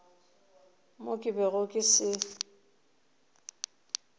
mo ke bego ke se